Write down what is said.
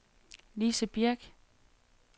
Lise Birch